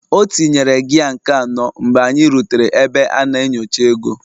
Ọ tinyere gia nke anọ mgbe anyị rutere ebe a na-enyocha ego